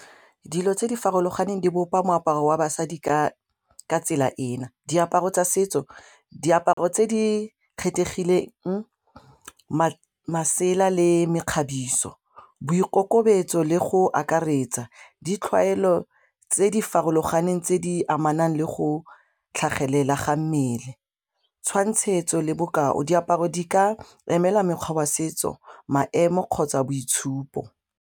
Dilo tse di farologaneng di bopa moaparo wa basadi ka tsela ena, diaparo tsa setso, diaparo tse di kgethegileng masela le mekgabiso, boikokobetso le go akaretsa, tse di farologaneng tse di amanang le go tlhagelela ga mmele, tshwantshetso le bokao, diaparo di ka emela mekgwa wa setso maemo kgotsa boitshupo.